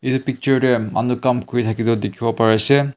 etu picture te ami kam kori thaka dekhi bo Pari se.